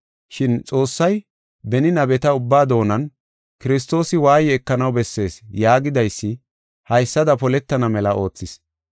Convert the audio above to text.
Shin Xoossay beni nabeta ubba doonan, ‘Kiristoosi waaye ekanaw bessees’ yaagidaysi haysada poletana mela oothis.